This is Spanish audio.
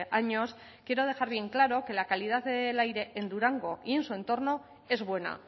años quiero dejar bien claro que la calidad del aire en durango y en su entorno es buena